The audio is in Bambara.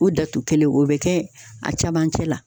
O datu kelen o be kɛ a camancɛ la